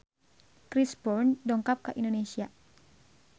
Chris Brown dongkap ka Indonesia